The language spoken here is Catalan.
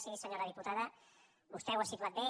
sí senyora diputada vostè ho ha situat bé